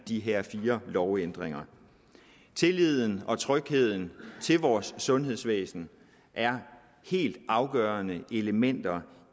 de her fire lovændringer tilliden og trygheden til vores sundhedsvæsen er helt afgørende elementer